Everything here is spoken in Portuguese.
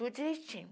Tudo direitinho.